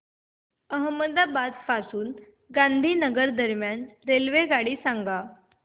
अहमदाबाद पासून गांधीनगर दरम्यान रेल्वेगाडी सांगा